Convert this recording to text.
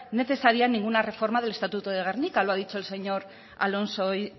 necesaria ninguna reforma del estatuto de gernika lo ha dicho el señor alonso hoy